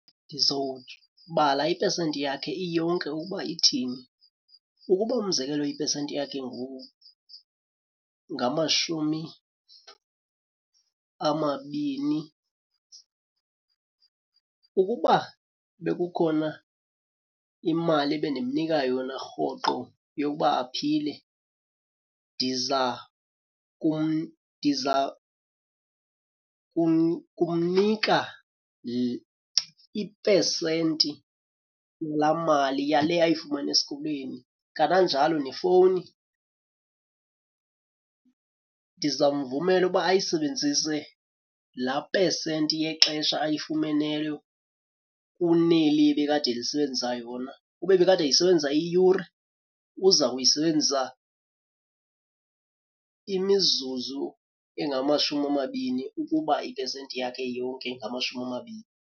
Ndizobala ipesenti yakhe iyonke ukuba ithini. Ukuba umzekelo ipesenti yakhe ngamashumi amabini. Ukuba bekukhona imali ebendimnika yona rhoqo yokuba aphile ndiza ndiza kumnika ipesenti laa mali, yale ayifumana esikolweni. Kananjalo nefowuni ndiza mvumela uba ayisebenzise laa pesenti yexesha ayifumeneyo kuneli ebekade elisebenzisa yona. Ube ebekade eyisebenzisa iyure, uza kuyisebenzisa imizuzu engamashumi amabini ukuba ipesenti yakhe yonke ingamashumi amabini.